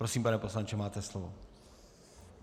Prosím, pane poslanče, máte slovo.